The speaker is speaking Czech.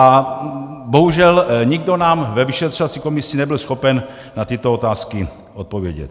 A bohužel nikdo nám ve vyšetřovací komisi nebyl schopen na tyto otázky odpovědět.